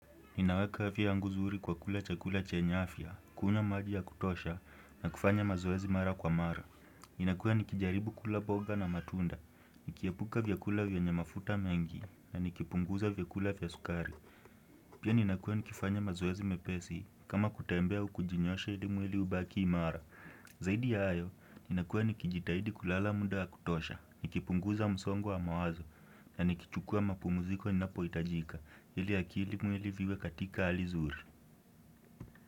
Ninaweka afya yangu zuri kwa kula chakula chenya afya, kunywa maji ya kutosha, na kufanya mazoezi mara kwa mara. Inakua nikijaribu kula boga na matunda, nikiepuka vyakula vyenye mafuta mengi, na nikipunguza vyakula vya sukari. Pia ninakua nikifanya mazoezi mepesi, kama kutembea au kujinyosha ili mweli ubaki imara. Zaidi ya hayo, ninakua nikijitahidi kulala muda wa kutosha, nikipunguza msongo wa mawazo, na nikichukua mapumuziko inapo itajika Hili akili mwili viwe katika hali zuri.